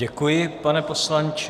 Děkuji, pane poslanče.